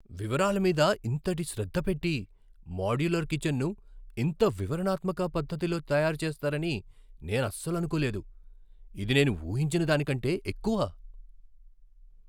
వివరాల మీద ఇంతటి శ్రద్ధ పెట్టి మాడ్యులర్ కిచెన్ను ఇంత వివరణాత్మక పద్ధతిలో తయారుచేస్తారని నేనసలు అనుకోలేదు! ఇది నేను ఊహించిన దానికంటే ఎక్కువ.